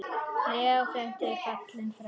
Leó frændi er fallinn frá.